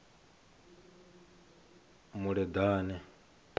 muleḓane